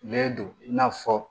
Ne don i n'a fɔ